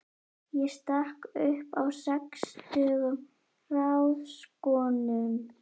Ég stakk upp á sextugum ráðskonum.